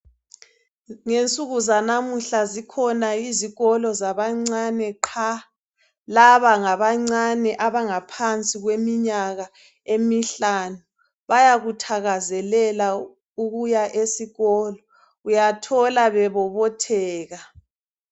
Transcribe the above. Ngensuku zanamuhla zikhona izikolo zabancane qha .Laba ngabancane abangaphansi kweminyaka emihlanu .Bayakuthakazelela ukuya esikolo .Uyathola bebobotheka